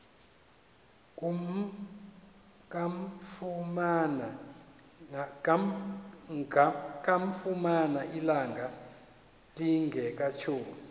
kamfumana ilanga lingekatshoni